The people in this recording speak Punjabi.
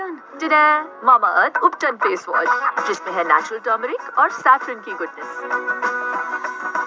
facewash ਜਿਸਮੇ ਹੈ natural turmeric ਅੋਰ